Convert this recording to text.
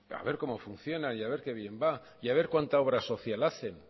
a ver cómo funcionan y a ver que bien va y a ver cuánta obra social hacen